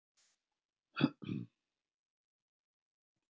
Alveg með ólíkindum hvað hann er búinn að vera mikill moðhaus!